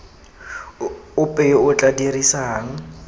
ope yo o tla dirisang